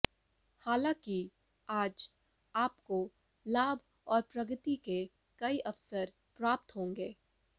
हालांकि आज आपको लाभ और प्रगति के कई अवसर प्राप्त होंगे